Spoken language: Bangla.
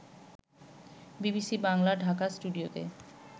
বিবিসি বাংলার ঢাকা স্টুডিওতে